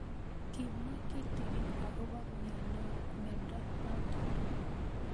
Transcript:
Kimwae kitig'in akopo miondo notok